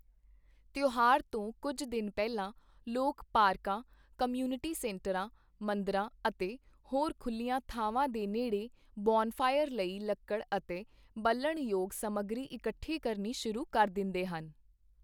ਤਿਉਹਾਰ ਤੋਂ ਕੁੱਝ ਦਿਨ ਪਹਿਲਾਂ, ਲੋਕ ਪਾਰਕਾਂ, ਕਮਿਊਨਿਟੀ ਸੈਂਟਰਾਂ, ਮੰਦਰਾਂ ਅਤੇ ਹੋਰ ਖੁੱਲ੍ਹੀਆਂ ਥਾਵਾਂ ਦੇ ਨੇੜੇ ਬੋਨਫਾਇਰ ਲਈ ਲੱਕੜ ਅਤੇ ਬਲਣਯੋਗ ਸਮੱਗਰੀ ਇਕੱਠੀ ਕਰਨੀ ਸ਼ੁਰੂ ਕਰ ਦਿੰਦੇ ਹਨ।